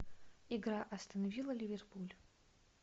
игра астон вилла ливерпуль